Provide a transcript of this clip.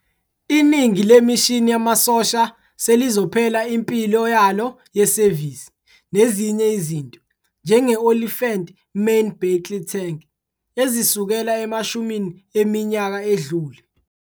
Iningi lemishini yamasosha selizophela impilo yalo yesevisi, nezinye izinto, njenge- Olifant Main Battle Tank, ezisukela emashumini eminyaka adlule.